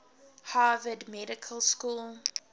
harvard medical school